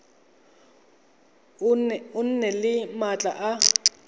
o nne le maatla a